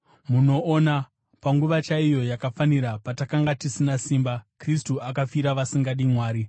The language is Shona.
Munoona, panguva chaiyo yakafanira, patakanga tisina simba, Kristu akafira vasingadi Mwari.